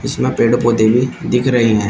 कुछ ना पेड़ पौधे भी दिख रहे हैं।